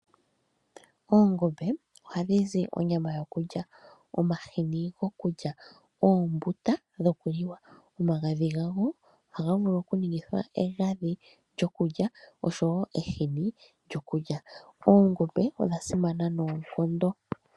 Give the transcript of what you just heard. Oongombe ohadhi zi onyama yokulya , omahini gokuliwa noombuta. Omagadhi gadho ohaga vulu okuningithwa egadhi nehini lyokulya . Oongombe oonkiintu odha simana noonkondo.